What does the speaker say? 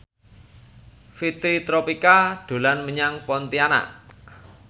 Fitri Tropika dolan menyang Pontianak